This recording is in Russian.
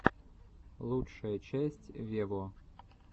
лучшая часть вево